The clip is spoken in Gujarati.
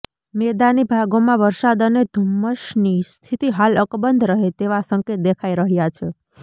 મેદાની ભાગોમાં વરસાદ અને ધુમ્મસની સ્થિતિ હાલ અકબંધ રહે તેવા સંકેત દેખાઈ રહ્યા છે